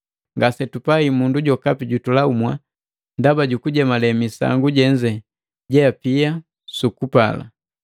Ngasetupai mundu jokapi jutulamua ndaba jukujemale misangu jenze jeapia su kupala.